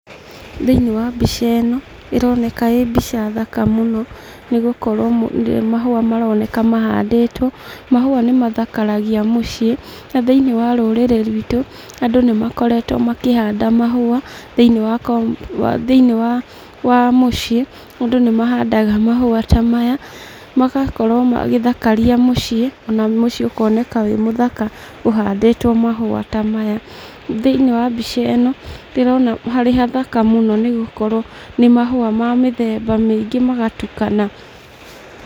Thĩinĩ wa mbica ĩno ĩroneka ĩ mbica thaka mũno nĩgũkorwo nĩ mahũa maroneka mahandĩtwo. Mahũa nĩmathakaragia mũciĩ na thĩinĩ wa rũrĩrĩ rwitũ andũ nĩmakoretwo makĩhanda mahũa thĩinĩ wa mũciĩ. Andũ nĩmahandaga mahũa ta maya magakorwo magĩthakaria mũciĩ ona mũciĩ ũkoneka wĩ mũthaka ũhandĩtwo mahũa ta maya.Thĩinĩ wa mbica ĩno ndĩrona hee hathaka nĩgũkorwo nĩ mahũa ma mĩthemba mĩingĩ magatukana.